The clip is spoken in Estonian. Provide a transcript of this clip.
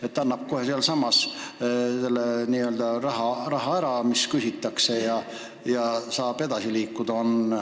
Rikkuja maksab kohe sealsamas selle raha ära, mis küsitakse, ja saab edasi liikuda.